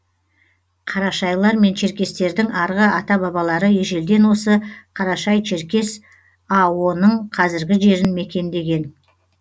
қарашайлар мен черкестердің арғы ата бабалары ежелден осы қарашай черкес ао ның қазіргі жерін мекендеген